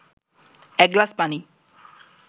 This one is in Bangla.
এক গ্লাস পানি